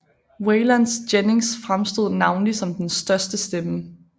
Waylon Jennings fremstod navnlig som den største stemme